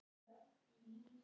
Gamall og muna nánast allt.